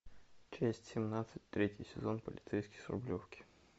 часть семнадцать третий сезон полицейский с рублевки